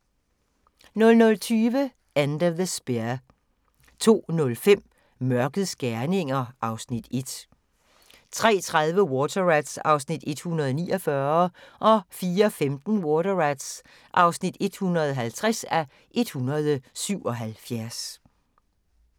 00:20: End of the Spear 02:05: Mørkets gerninger (Afs. 1) 03:30: Water Rats (149:177) 04:15: Water Rats (150:177)